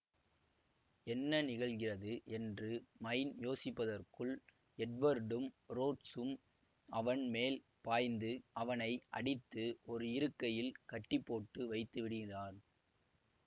என்ன நிகழ்கிறது என்று மைன் யோசிப்பதற்குள் எட்வர்டும் ரோட்ஸும் அவன் மேல் பாய்ந்து அவனை அடித்து ஒரு இருக்கையில் கட்டிப்போட்டு வைத்து விடுகிறான்